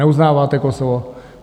Neuznáváte Kosovo?